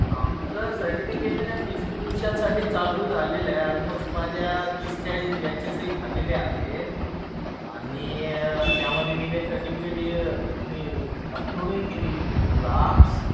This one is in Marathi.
आमचं सर्टिफिकेशन डिस्ट्रिब्युशन साठी चालू झालेलं आहे. ऑलमोस्ट माझ्या तीस चाळीस बॅचेस हि झालेल्या आहेत. आणि त्यामध्ये मी काही सर्टिफिकेट म्हणजे अपलोडही केलेली फोटोग्राफ्स.